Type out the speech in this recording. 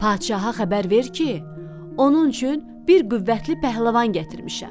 Padşaha xəbər ver ki, onun üçün bir qüvvətli pəhləvan gətirmişəm.